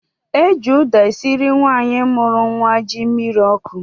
Eji ụda esịrị nwaanyi mụrụ nwa ji mmịrị ọkụ